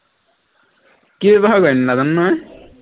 কি ব্য়ৱহাৰ কৰেনো নাজানো নহয়